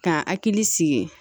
K'a hakili sigi